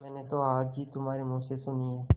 मैंने तो आज ही तुम्हारे मुँह से सुनी है